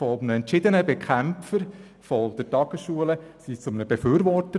Von entschiedenen Bekämpfern der Tagesschulen wurden sie zu Befürwortern.